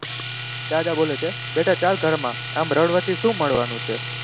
દાદા બોલે છે બેટા ચાલ ઘરમાં આમ રડવાથી શું મળવાનું છે.